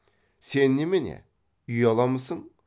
сен немене ұяламысың